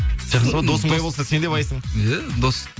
сол досың сондай болса сен де байсың иә дос